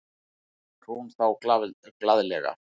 hrópar hún þá glaðlega.